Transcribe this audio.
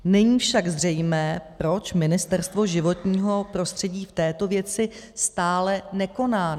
Není však zřejmé, proč Ministerstvo životního prostředí v této věci stále nekoná.